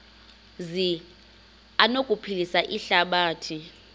zi anokuphilisa ihlabathi